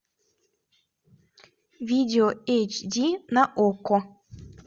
видео эйч ди на окко